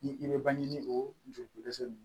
Ni i bɛ bange ni o joli dɛsɛ